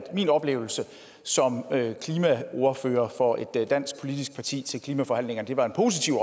min oplevelse som klimaordfører for et dansk politisk parti til klimaforhandlingerne var positiv